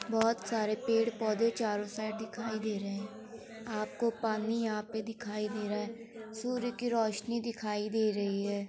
बोहोत सारे पेड़ -पौधे चारों साइड दिखाई दे रहे हैं आपको पानी यहां पे दिखाई दे रहा है सूर्य की रोशनी दिखाई दे रही है।